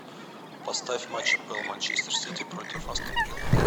поставь матч апл манчестер сити против астон вилла